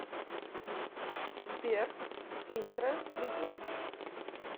сбер интро би два